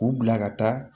U bila ka taa